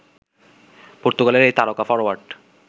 পর্তুগালের এই তারকা ফরোয়ার্ড